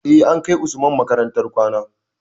Eh, an kai usman makarantar kwana